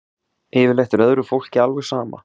Yfirleitt er öðru fólki alveg sama